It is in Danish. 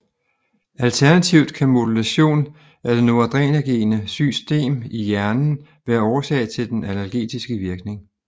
Alternativt kan modulation af det noradrenerge system i hjernen være årsag til den analgetiske virkning